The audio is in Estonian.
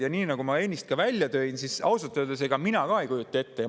Ja nii nagu ma ennist ka välja tõin, ausalt öeldes mina ka ei kujuta ette,.